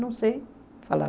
Não sei, falava.